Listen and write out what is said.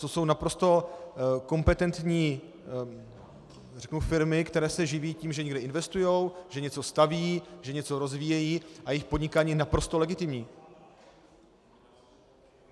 To jsou naprosto kompetentní, řeknu firmy, které se živí tím, že někde investují, že něco staví, že něco rozvíjejí, a jejich podnikání je naprosto legitimní.